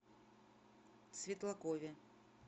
светлакове